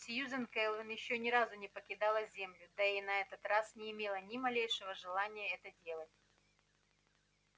сьюзен кэлвин ещё ни разу не покидала землю да и на этот раз не имела ни малейшего желания это делать